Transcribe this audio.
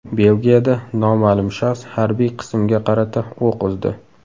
Belgiyada noma’lum shaxs harbiy qismga qarata o‘q uzdi.